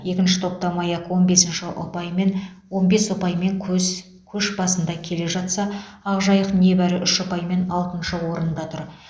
екінші топта маяк он бесінші ұпаймен он бес ұпаймен көз көш басында келе жатса ақжайық небәрі үш ұпаймен алтыншы орында тұр